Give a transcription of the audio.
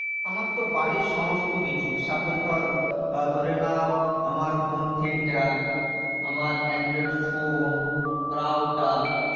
আমার তো বাড়ির সমস্ত কিছু suppose ধরো আহ ধরে নাও আমার home theater, আমার android ফোন, router,